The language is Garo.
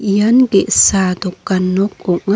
ian ge·sa dokan nok ong·a--